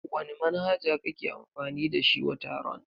Wani manhaja kake amfani da shi wa taron?